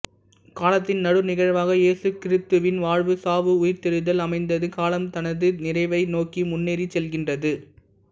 காலத்தின் நடு நிகழ்வாக இயேசு கிறித்துவின் வாழ்வு சாவு உயிர்த்தெழுதல் அமைந்தது காலம் தனது நிறைவை நோக்கி முன்னேறிச் செல்கின்றது